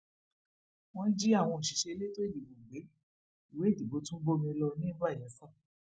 wọn jí àwọn òṣìṣẹ elétò ìdìbò gbé ìwé ìdìbò tún bómi lọ ní bay elsa